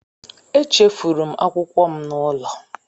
Echefuru m akwụkwọ m n'ụlọ